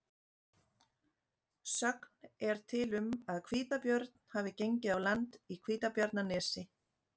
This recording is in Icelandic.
Sögn er til um að hvítabjörn hafi gengið á land í Hvítabjarnarnesi.